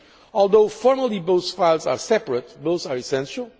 Although formally both files are separate, both are essential.